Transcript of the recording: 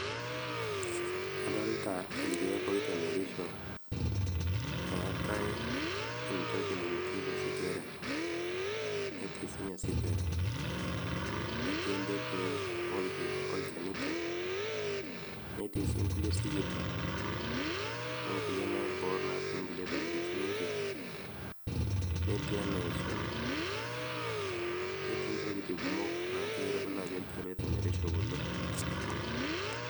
Adolta ilkeek oitemerisho etaii entoki nainokieki osigara netii sininye osigara netii ntembei olchanito netii sii nkulie sikitok onkulie naibor natii nkulie tokiting' sininje netii enaisho netii ntokiting' kumok na kitodolu ajo ntokiting' naitemerisho kulo.